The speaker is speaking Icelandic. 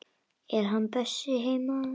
Er hann Bjössi heima?